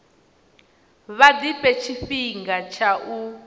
vha ḓifhe tshifhinga tsha u